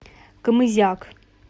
камызяк